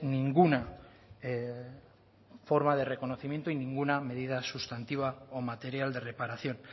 ninguna forma de reconocimiento y ninguna medida sustantiva o material de reparación